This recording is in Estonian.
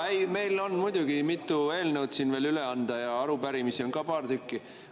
Jaa, meil on muidugi mitu eelnõu siin veel üle anda ja arupärimisi on ka paar tükki.